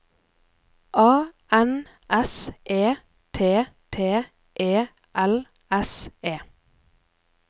A N S E T T E L S E